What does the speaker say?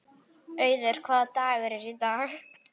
Auður, hvaða dagur er í dag?